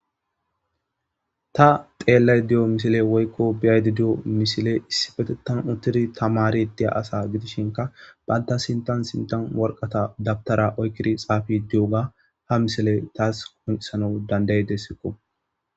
Ta xeelayde diyo misile woy be'ide diyo misile issipetethan uttidi tamaride diya asa gidishinkka bantta sinthan sinthn waraqata dawutara ekidi xaafide diyoga ha misile tas qoncisanas danda'ideskko.